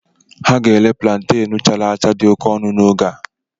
Ha ga-ere púlantenú chara acha dị oke ọnụ n'oge a